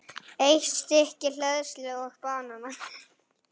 Eitt stykki hleðslu og banana.